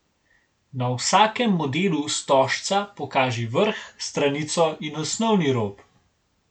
Na vsakem modelu stožca pokaži vrh, stranico in osnovni rob.